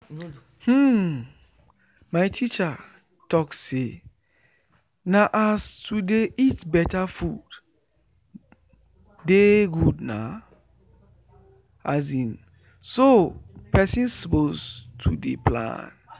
hmmm my teacher talk say na as to dey eat beta food dey good na so person suppose to dey plan